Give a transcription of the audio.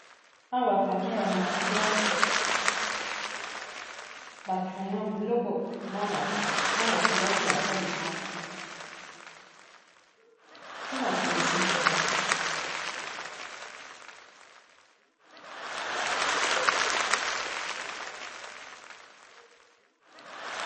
awa bapake ya ba markeur bakreya biloko bana kelasi basalisaka to bato misuso kaka